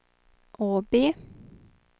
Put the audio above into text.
Åby